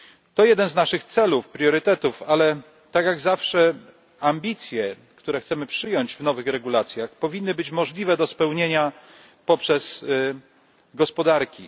To jeden z naszych celów, priorytetów, ale tak jak zawsze ambicje, które chcemy przyjąć w nowych regulacjach, powinny być możliwe do spełnienia przez gospodarki.